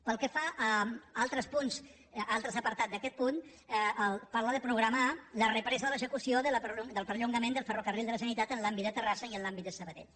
pel que fa a altres punts a altres apartats d’aquest punt parla de programar la represa de l’execució del perllongament dels ferrocarrils de la generalitat en l’àmbit de terrassa i en l’àmbit de sabadell